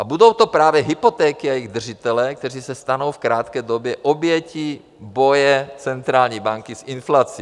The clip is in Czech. A budou to právě hypotéky a jejich držitelé, kteří se stanou v krátké době obětí boje centrální banky s inflací.